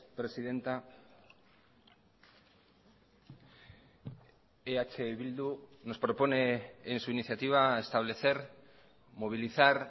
presidenta eh bildu nos propone en su iniciativa establecer movilizar